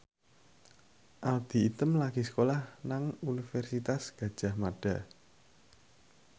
Audy Item lagi sekolah nang Universitas Gadjah Mada